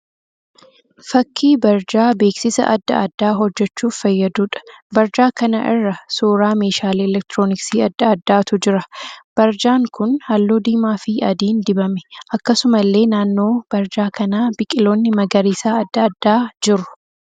Fakkii barjaa beeksisa adda addaa hojjechuuf fayyaduudha. Barjaa kana irra suuraa meeshaalee 'elektirooniksii' adda addaatu jira. Barjaan kun halluu diimaa fi adiin dibame. Akkasumallee naannoo barjaa kanaa biqiloonni magariisaa adda addaa jiru.